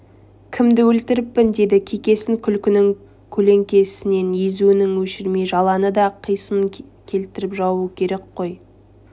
кімді өлтіріппін деді кекесін күлкінің көлеңкесін езуінен өшірмей жаланы да қисынын тауып жабу керек қой